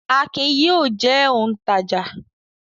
Akin yóò jẹ́ òǹtajà!